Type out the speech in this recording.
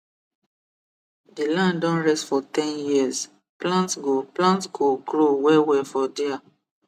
the land don rest for ten years plant go plant go grow wellwell for dia